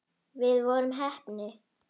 Við vorum heppni.